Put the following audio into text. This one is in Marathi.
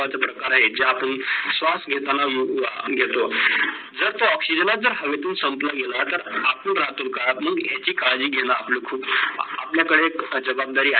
प्रकार आहेत जे आपलं श्वास घेतांना योग्य असतो. जर तो oxygen जर हवे संपलं गेल तर आपण राहतोल का माग याची काडजी घेणं आपलं खूप आपल्या कडे जवाबदारी